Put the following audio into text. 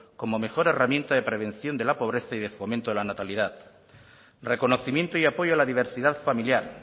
como mejor herramienta de prevención de la pobreza y de fomento de la natalidad reconocimiento y apoyo a la diversidad familiar